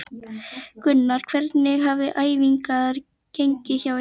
Gunnar: Hvernig hafa æfingar gengið hjá ykkur?